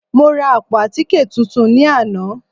Mo ra àpò àtíkè tuntun ní àná